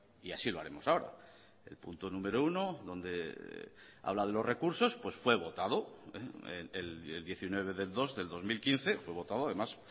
y así lo haremos ahora el punto número uno donde habla de los recursos pues fue votado el diecinueve del dos del dos mil quince fue votado además